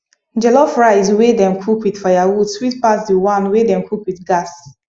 jollof rice wey dem cook with firewood sweet pass the one wey dem cook with gas